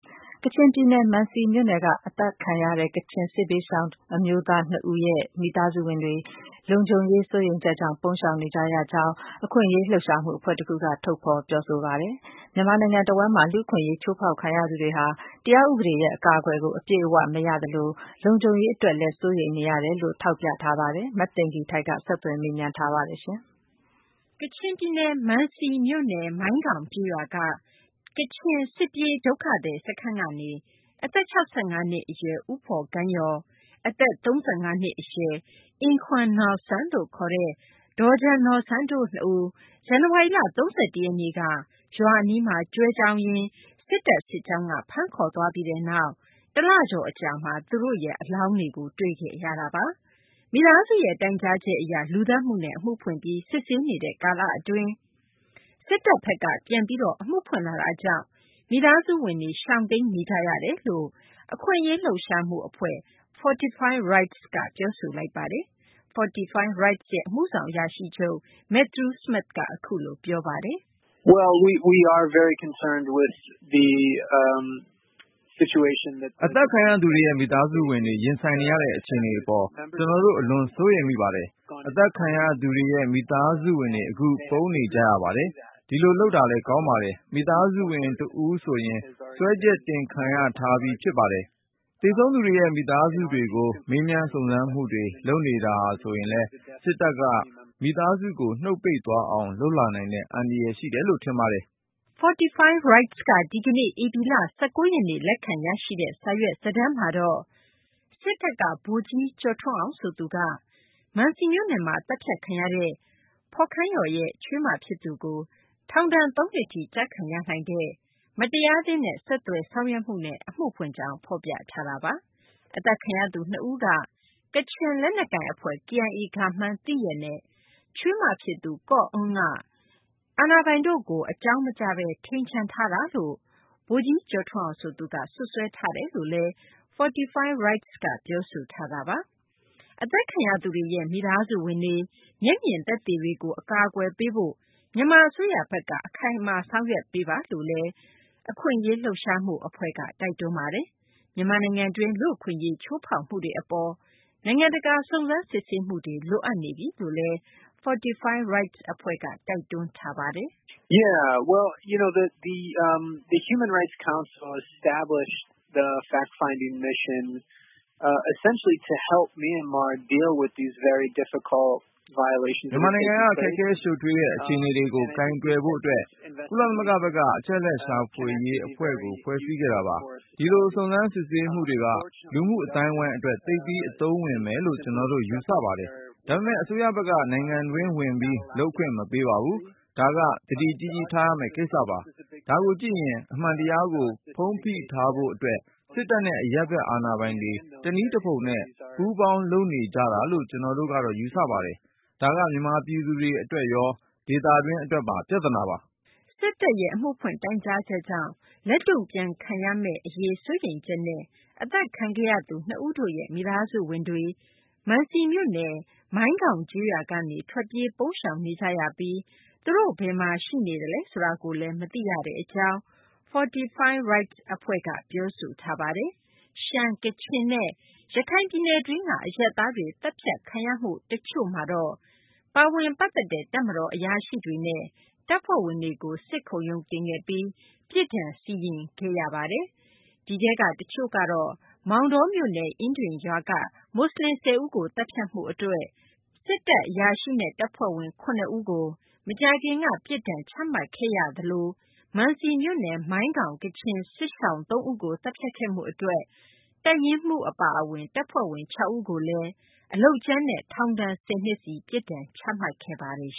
ကချင်ပြည်နယ် မံစီမြို့နယ်က သတ်ဖြတ်ခံရတဲ့ ကချင် စစ်ဘေးရှောင် အမျိုးသား နှစ်ဦးနဲ့ရဲ့ မိသားစုဝင်တွေ လုံခြုံရေး စိုးရိမ်ချက်ကြောင့် ရှောင်ပုန်းနေကြရကြောင်း အခွင့်အရေး လှုပ်ရှားမှု အဖွဲ့တခုက ထုတ်ဖော် ပြောဆိုလိုက်ပါတယ်။ မြန်မာနိုင်ငံ တဝန်းမှာ လူ့အခွင့်အရေး ချိုးဖောက်ခံရသူတွေဟာ တရားဥပဒေရဲ့ အကာအကွယ်ကို အပြည့်အ၀ မရသလို လုံခြုံရေး အတွက်လည်း စိုးရိမ်နေရတယ်လို့လည်း ထောက်ပြလိုက်ပါတယ်။ မသိင်္ဂ ီထိုက် ဆက်သွယ်မေးမြန်းထားပါတယ်။ မံစီမြို့နယ် မိုင်းခေါင် ကျေးရွာက ဒုက္ခသည် စခန်းကနေ အသက် ၆၅ နှစ် အရွယ် ဦးဖော်ခန်းယော်၊ အသက် ၃၅ နှစ် အရွယ် အင်ခွမ်နော်ဆန်း ဒေါဂျနော်ဆန်းတို့ နှစ်ဦး ဇန်နဝါရီလ ၃၁ ရက်နေ့က ရွာအနီးမှာ ကျွဲကျောင်းထွက်ရင်း စစ်တပ် စစ်ကြောင်းက ဖမ်းခေါ်သွားပြီးနောက် ၁ လကျော်ကြာမှာ အလောင်းတွေကို တွေ့ခဲ့ရတာပါ။ မိသားစုရဲ့ တိုင်ကြားချက်အရ လူသတ်မှုနဲ့ အမှုဖွင့်ပြီး စစ်ဆေးနေတဲ့ ကာလအတွင်း စစ်တပ်ဘက်က ပြန်ပြီး အမှုဖွင့်လာတာကြောင့် မိသားစုဝင်တွေ ပုန်းအောင်းနေကြ ရကြောင်း အခွင့်အရေး လှုပ်ရှားမှု အဖွဲ့ Fortify Rights ကပြောဆို လိုက်ပါတယ်။ Fortify Rights ရဲ့ အမှုဆောင်အရာရှိချုပ် Matthew Smith က ပြောပါတယ်။ "အသတ်ခံရသူတွေရဲ့ မိသားစုဝင်တွေ ရင်ဆိုင်နေရတဲ့ အခြေအနေ အပေါ် ကျနော်တို့ အလွန် စိုးရိမ်ပါတယ်။ အသတ်ခံရသူတွေရဲ့ မိသားစုဝင်တွေ အခု ပုန်းနေကြရပါတယ်။ ဒီလိုလုပ်တာလည်း ကောင်းပါတယ်။ မိသားစုဝင် တဦးဆိုရင် စွဲချက်တင်ခံထားရပြီး ဖြစ်ပါတယ်။ သေဆုံးသူတွေရဲ့ မိသားစုတွေကို မေးမြန်း စုံစမ်းစစ်ဆေးမှုတွေ လုပ်နေတာဟာဆိုရင်လည်း စစ်တပ်ဘက်က မိသားစုကို နုတ်ပိတ်သွားအောင် လုပ်လာနိုင်တဲ့ အန္တရာယ် ရှိတယ်လို့ ထင်ပါတယ်။" Fortify Rights က ဒီကနေ့ ဧပြီလ ၁၉ ရက်နေ့ လက်ခံရရှိတဲ့ စာရွက်စာတမ်းမှာတော့ စစ်တပ်က ဗိုလ်ကြီး ကျော်ထွန်းအောင် ဆိုသူက မံစီမြို့နယ်မှာ သတ်ဖြတ်ခံရသူ ဖော်ခန်းယော်ရဲ့ ချွေးမဖြစ်သူကို ထောင်ဒဏ် ၃ နှစ်ထိ ကျခံရနိုင်တဲ့ မတရားသင်းနဲ့ ဆက်သွယ်မှုနဲ့ အမှုဖွင့်ကြောင်း ဖော်ပြထားပါတယ်။ အသတ်ခံရသူ နှစ်ဦးက ကချင်လက်နက်ကိုင် အဖွဲ့ KIA ကမှန်း သိရက်နဲ့ ချွေးမဖြစ်သူ ကော့အောန်းက အာဏာပိုင်တို့ကို အကြောင်းမကြားဘဲ ထိန်ချန်ထားတာလို့လည်း ဗိုလ်ကြီး ကျော်ထွန်းအောင် ဆိုသူက စွပ်စွဲထားတယ်လို့ Fortify Rights က ပြောဆိုထားတာပါ။ အသတ်ခံရသူတွေရဲ့ မိသားစုဝင်တွေ၊ မျက်မြင် သက်သေတွေကို အကာအကွယ်ပေးရေး မြန်မာ အစိုးရဘက်က အခိုင်အမာ ဆောင်ရွက်ပေးဖို့လည်း တိုက်တွန်းပါတယ်။ မြန်မာနိုင်ငံတွင်း လူ့အခွင့်အရေး ချိုးဖောက်မှုတွေ အပေါ် နိုင်ငံတကာ စုံစမ်းစစ်ဆေးမှုတွေ လိုအပ်နေပြီလို့လည်း Fortify Rights က တိုက်တွန်းထားပါတယ်။ "မြန်မာနိုင်ငံက ခက်ခဲရှုပ်ထွေးတဲ့ အခြေအနေတွေကို ကိုင်တွယ်နိုင်ဖို့ အတွက် ကုလသမဂ္ဂဘက်က အချက်အလက်ရှာ အဖွဲ့ကို ဖွဲ့စည်းခဲ့တာပါ။ ဒီလို စုံစမ်းစစ်ဆေးမှုတွေက လူမှု အသိုင်းအဝိုင်းအတွက် သိပ်ပြီး အသုံးဝင်မယ်လို့ ကျနော်တို့ ယူဆပါတယ်။ ဒါပေမယ့် အစိုးဘက်က နိုင်ငံတွင်း ဝင်ပြီး လုပ်ခွင့်မပေးပါဘူး။ ဒါက သတိကြီးကြီး ထားရမယ့် ကိစ္စပါ။ ဒါကိုကြည့်ရင် အမှန်တရားကို ဖုံးဖိထားဖို့ အတွက် စစ်တပ်နဲ့ အရပ်ဘက် အာဏာပိုင်တွေ တနည်းတဖုံနဲ့ ပေါင်းလုပ်နေကြတာလို့ ကျနော်တို့ကတော့ ယူဆပါတယ်။ ဒါက မြန်မာပြည်သူတွေ အတွက်ရော ဒေသတွင်း အတွက်ပါ ပြသနာပါ။" စစ်တပ်ရဲ့ အမှုဖွင့်တိုင်ကြားချက်ကြောင့် လက်တုံ့ပြန်ခံရမယ့် အရေး စိုးရိမ်ချက်နဲ့ အသတ်ခံရသူ နှစ်ဦးရဲ့ မိသားစုဝင်တွေ မံစီမြို့နယ် မိုင်ခေါင်ကျေးရွာကနေ ထွက်ပြေး ပုန်းရှောင်နေကြပြီး အခု ဒီလူတွေ ဘယ်မှာ ရှိနေလဲ ဆိုတာ မသိရသေးဘူးလို့လည်း Fortify Rights အဖွဲ့က ပြောဆိုထားပါတယ်။ ရှမ်း၊ ကချင်နဲ့ ရခိုင် ပြည်နယ်တွင်းက အရပ်သားတွေ သတ်ဖြတ်ခံရမှုမှာ ပါဝင်ပတ်သက်တဲ့ တပ်မတော် အရာရှိတွေနဲ့ တပ်ဖွဲ့ဝင်တွေကိုတော့ စစ်ခုံရုံတင်ခဲ့ပြီး ပြစ်ဒဏ်စီရင်ခဲ့တာထဲမှာတော့ မောင်တောမြို့နယ် အင်းဒင်ရွာက မူဆလင် ၁၀ ဦးကို သတ်ဖြတ်မှုအတွက် အရာရှိနဲ့ တပ်ဖွဲ့ဝင် ၇ ဦးကို မကြာခင်က ပြစ်ဒဏ်ချမှတ်ခဲ့သလို မံစီမြို့နယ် မိုင်းခေါင် ကချင် စစ်ရှောင် ၃ ဦးကို သတ်ဖြတ်ခဲ့မှုတွေ အတွက် တပ်ရင်းမှူး အပါအဝင် တပ်ဖွဲ့ဝင် ၆ ဦးကိုလည်း အလုပ်ကြမ်းနဲ့ ထောင်ဒဏ် ၁၀ နှစ်စီ ပြစ်ဒဏ်ချမှတ်ခဲ့ပါတယ်